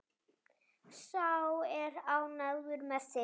Sá er ánægður með þig!